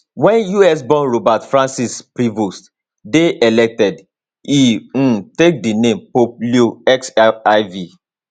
wen usborn robert francis prevost dey elected e um take di name pope leo xiv